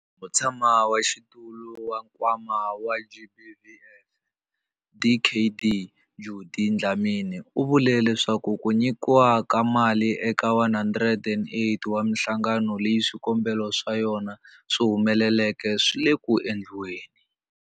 Mutshamaxitulu wa Nkwama wa GBVF, Dkd Judy Dlamini, u vule leswaku ku nyikiwa ka mali eka 108 wa mihlangano leyi swikombelo swa yona swi humeleleke swi le ku endliweni.